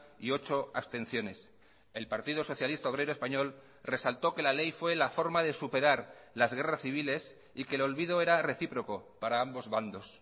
y ocho abstenciones el partido socialista obrero español resaltó que la ley fue la forma de superar las guerras civiles y que el olvido era recíproco para ambos bandos